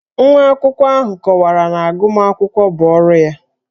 Nwa akwụkwọ ahụ kọwara na agụmakwụkwọ bụ ọrụ ya